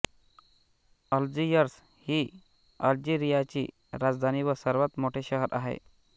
Algiers ही अल्जीरियाची राजधानी व सर्वात मोठे शहर आहे